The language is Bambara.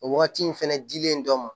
O wagati in fɛnɛ dilen dɔ ma